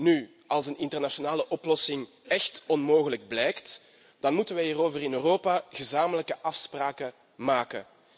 Nu, als een internationale oplossing echt onmogelijk blijkt, dan moeten we hierover in Europa gezamenlijke afspraken maken.